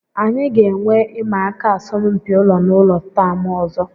Anyị ga-enwe ịma aka asọmpi ụlọ na ụlọ taam ọzọ